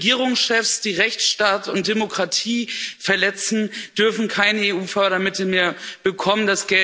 Regierungschefs, die Rechtsstaat und Demokratie verletzen, dürfen keine EU Fördermittel mehr bekommen.